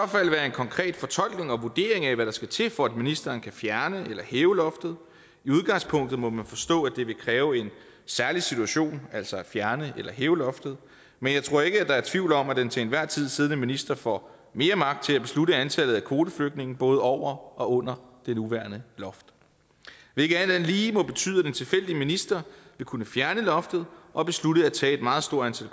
konkret fortolkning og vurdering af hvad der skal til for at ministeren kan fjerne eller hæve loftet i udgangspunktet må man forstå at det vil kræve en særlig situation altså at fjerne eller hæve loftet men jeg tror ikke at der er tvivl om at den til enhver tid siddende minister får mere magt til at beslutte antallet af kvoteflygtninge både over og under det nuværende loft hvilket alt andet lige må betyde at en tilfældig minister vil kunne fjerne loftet og beslutte at tage et meget stort